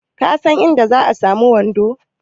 Ka san inda zan samu wando?